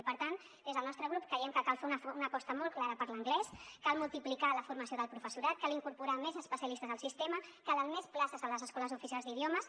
i per tant des del nostre grup creiem que cal fer una aposta molt clara per l’anglès cal multiplicar la formació del professorat cal incorporar més especialistes al sistema calen més places a les escoles oficials d’idiomes